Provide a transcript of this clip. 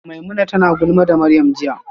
Maimuna tana ta gulma da Maryam jiya